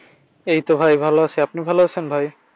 এই তো ভাই ভালো আছি। আপনি ভালো আছেন ভাই?